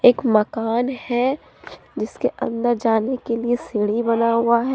मकान है जिसके अंदर जाने के लिए सीढ़ी बना हुआ है।